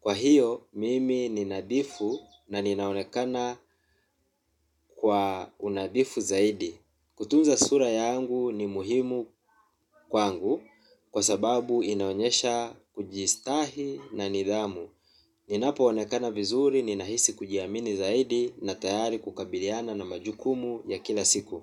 Kwa hiyo, mimi ni nadhifu na ninaonekana kwa unadhifu zaidi. Kutunza sura yangu ni muhimu kwangu kwa sababu inaonyesha kujistahi na nidhamu. Ninapoonekana vizuri, ninahisi kujiamini zaidi na tayari kukabiliana na majukumu ya kila siku.